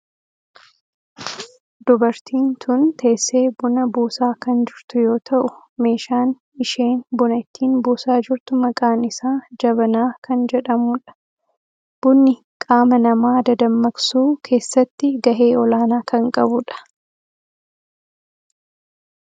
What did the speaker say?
Dubartiin tun teessee buna buusaa kan jirtu yoo ta'u meeshaan isheen buna ittiin buusaa jirtu maqaan isaa jabanaa kan jedhamuu dha. Bunni qaama nama dadammaksuu keessatti gahee olaanaa kan qabudha.